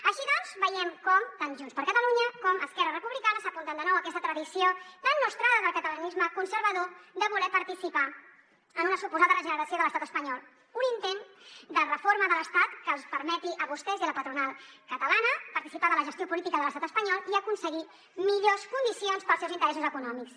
així doncs veiem com tant junts per catalunya com esquerra republicana s’apunten de nou a aquesta tradició tan nostrada del catalanisme conservador de voler participar en una suposada regeneració de l’estat espanyol un intent de reforma de l’estat que els permeti a vostès i a la patronal catalana participar de la gestió política de l’estat espanyol i aconseguir millors condicions per als seus interessos econòmics